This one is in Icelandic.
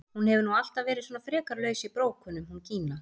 Hún hefur nú alltaf verið svona frekar laus í brókunum hún Gína!